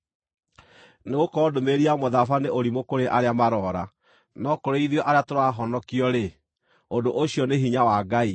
Nĩgũkorwo ndũmĩrĩri ya mũtharaba nĩ ũrimũ kũrĩ arĩa maroora, no kũrĩ ithuĩ arĩa tũrahonokio-rĩ, ũndũ ũcio nĩ hinya wa Ngai.